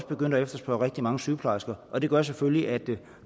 begyndt at efterspørge rigtig mange sygeplejersker og det gør selvfølgelig at